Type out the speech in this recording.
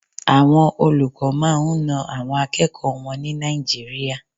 Àwọn olùkọ́ máa ń na àwọn akẹ́kọ̀ọ́ wọn ní Nàìjíríà.